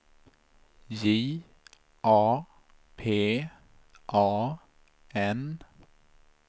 J A P A N